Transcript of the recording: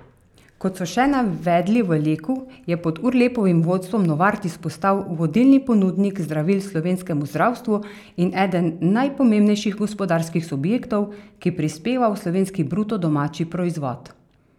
Kot so še navedli v Leku, je pod Urlepovim vodstvom Novartis postal vodilni ponudnik zdravil slovenskemu zdravstvu in eden najpomembnejših gospodarskih subjektov, ki prispeva v slovenski bruto domači proizvod.